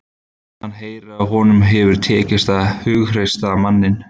Hann heyrir að honum hefur tekist að hughreysta manninn.